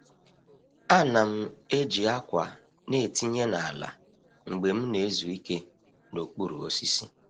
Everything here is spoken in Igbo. A na'm eji akwa na etinye n’ala mgbe m na-ezu ike n’okpuru osisi.